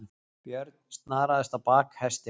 Björn snaraðist á bak hestinum.